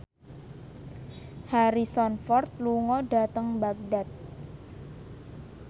Harrison Ford lunga dhateng Baghdad